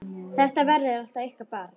Þetta verður alltaf ykkar barn!